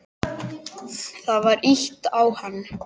Það var ýtt á hann.